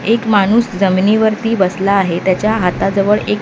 एक माणूस जमिनीवर ती बसला आहे त्याच्या हाताजवळ एक --